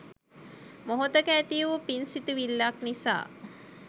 මොහොතක ඇති වූ පින් සිතිවිල්ලක් නිසා